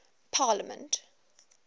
parliament